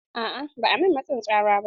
A'a ba a min matsin tsara ba.